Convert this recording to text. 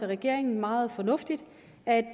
regeringen meget fornuftigt at